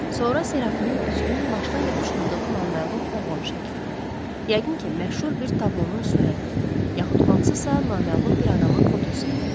Sonra Serafinin güzgünün başına yapışdırdığı naməlum oğlan şəkli, yəqin ki, məşhur bir tablonun surəti, yaxud hansısa naməlum bir adamın fotosu idi.